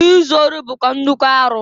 Izu ori bụkwa nnukwu arụ.